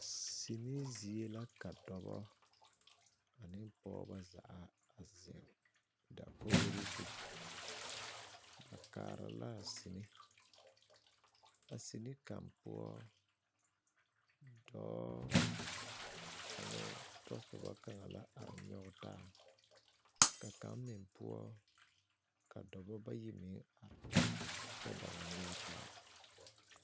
Sini zie la ka dɔbɔ ane pɔɔbɔ a zeŋ dakoɡri zu ba kaara la a sini a sini kaŋ poɔ dɔɔ ane o tɔsobɔ kaŋ la are nyɔɡe taa ka kaŋ meŋ poɔ ka dɔbɔ bayi meŋ are kyɛ ba ba nyɔɡe taa.